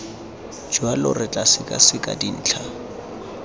jalo re tla sekaseka dintlha